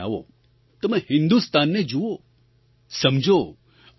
તમે હિન્દુસ્તાનને જુઓ સમજો અનુભવ કરો